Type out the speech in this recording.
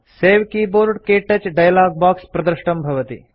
सवे keyboard - क्तौच dialog box प्रदृष्टं भवति